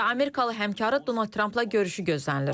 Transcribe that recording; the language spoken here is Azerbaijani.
və amerikalı həmkarı Donald Trampla görüşü gözlənilir.